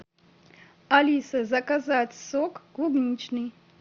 алиса заказать сок клубничный